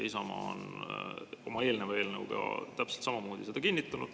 Isamaa on oma eelneva eelnõuga täpselt samamoodi seda kinnitanud.